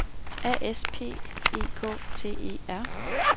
A S P E K T E R